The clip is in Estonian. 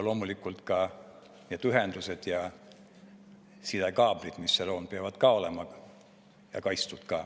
Loomulikult peavad ka need ühendused ja sidekaablid, mis seal on, olema kaitstud.